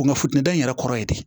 Kungo futɛni yɛrɛ kɔrɔ ye dɛ